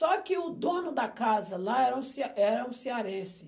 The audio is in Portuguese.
Só que o dono da casa lá era um ce era um cearense.